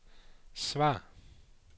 svar